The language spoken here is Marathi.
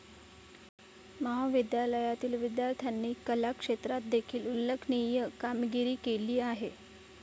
महाविद्यालयातील विद्यार्थ्यांनी कला क्षेत्रात देखील उल्लेखनीय कामगिरी केली आहे.